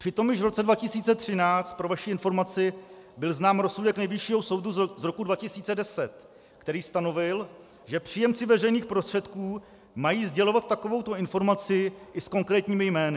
Přitom již v roce 2013, pro vaši informaci, byl znám rozsudek Nejvyššího soudu z roku 2010, který stanovil, že příjemci veřejných prostředků mají sdělovat takovouto informaci i s konkrétními jmény.